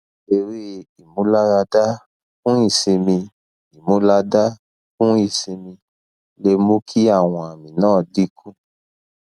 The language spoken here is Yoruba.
ere imularada fun isimi imulada fun isimi le mu ki awon ami na dinku